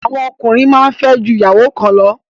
Àwọn ọkùnrin máa ń fẹ́ ju ìyàwó kan lọ